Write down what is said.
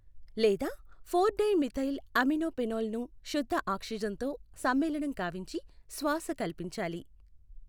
లేదా four di methyl amino phenol ను శుద్ధ ఆక్సిజన్ తో సమ్మేళనం కావించి శ్వాస కల్పించాలి.